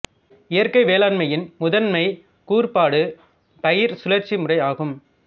இயற்கை வேளாண்மையின் முத்ன்மை கூறுபாடு பயிர் சுழற்சி முறை ஆகும்